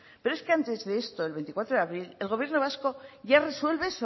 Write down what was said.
pero es que antes de esto el veinticuatro de abril el gobierno vasco ya resuelve